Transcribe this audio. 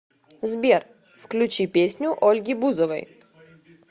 сбер включи песню ольги бузовой